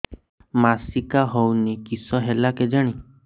ମାସିକା ହଉନି କିଶ ହେଲା କେଜାଣି